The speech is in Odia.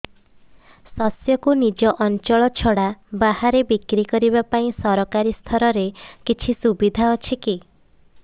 ଶସ୍ୟକୁ ନିଜ ଅଞ୍ଚଳ ଛଡା ବାହାରେ ବିକ୍ରି କରିବା ପାଇଁ ସରକାରୀ ସ୍ତରରେ କିଛି ସୁବିଧା ଅଛି କି